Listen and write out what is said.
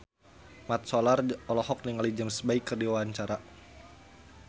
Mat Solar olohok ningali James Bay keur diwawancara